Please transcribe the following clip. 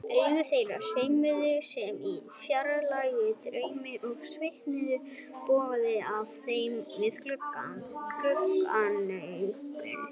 Augu þeirra sveimuðu sem í fjarlægum draumi og svitinn bogaði af þeim við gagnaugun.